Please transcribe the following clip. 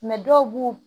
dɔw b'u